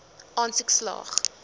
aansoek slaag